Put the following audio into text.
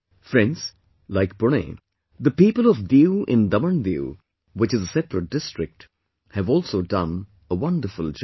Friends, Like Pune, the people of Diu in DamanDiu, which is a separate district, have also done a wonderful job